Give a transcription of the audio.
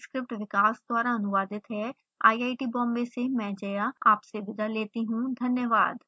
यह स्क्रिप्ट विकास द्वारा अनुवादित है आईआईटी बॉम्बे से में जया आपसे विदा लेती हूँ धन्यवाद